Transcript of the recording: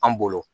An bolo